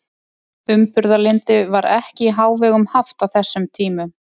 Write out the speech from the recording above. Einnig er ekki víst að rýrar framlappir hafi verið hindrun við veiðar.